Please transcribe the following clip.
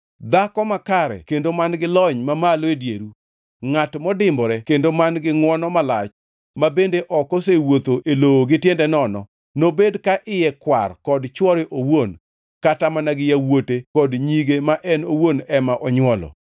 Dhako makare kendo man-gi lony mamalo e dieru, ngʼat modimbore kendo man-gi ngʼwono malach ma bende ok osewuotho e lowo gi tiende nono, nobed ka iye kwar kod chwore owuon kata mana gi yawuote kod nyige ma en owuon ema onywolo.